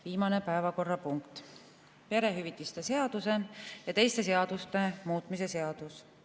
Viimane päevakorrapunkt, perehüvitiste seaduse ja teiste seaduste muutmise seadus.